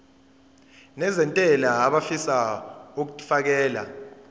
nezentela abafisa uukfakela